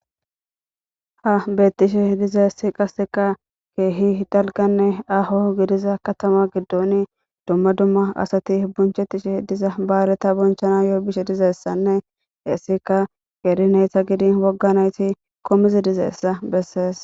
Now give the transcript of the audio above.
Ha betishe dizays qaseka keeh dalganne aho gidida katama gidon dumma dumma asat bonchetishe diza bayrata bonchanayo bishe dizaysanne hesika qeri nayta gidin woga nayt shiiq utidaysa beses.